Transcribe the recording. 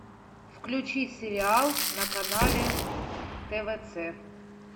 включи сериал на канале твц